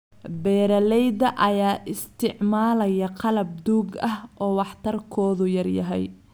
Beeralayda ayaa isticmaalaya qalab duug ah oo waxtarkoodu yar yahay.